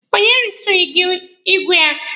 Onye resiri gị igwe a?